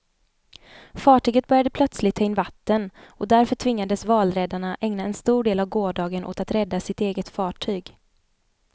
Fartyget började plötsligt ta in vatten och därför tvingades valräddarna ägna en stor del av gårdagen åt att rädda sitt eget fartyg.